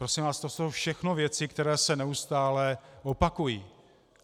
Prosím vás, to jsou všechno věci, které se neustále opakují.